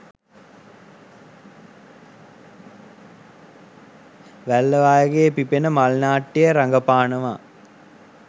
වැල්ලවායගේ පිපෙන මල් නාට්‍යයේ රඟපානවා